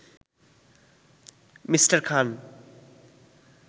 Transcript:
me: Khan